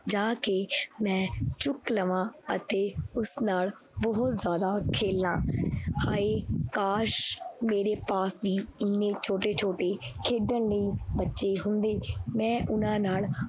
ਜਾ ਕੇ ਮੈਂ ਚੁੱਕ ਲਵਾਂ ਅਤੇ ਉਸ ਨਾਲ ਬਹੁਤ ਜ਼ਿਆਦਾ ਖੇਲਾਂ ਹਾਏ ਕਾਸ਼ ਮੇਰੇ ਪਾਸ ਵੀ ਇੰਨੇ ਛੋਟੇ ਛੋਟੇ ਖੇਡਣ ਲਈ ਬੱਚੇ ਹੁੰਦੇ, ਮੈਂ ਉਹਨਾਂ ਨਾਲ